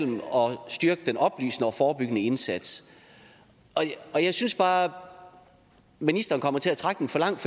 styrke den oplysende og forebyggende indsats og jeg synes bare ministeren kommer til at trække den for langt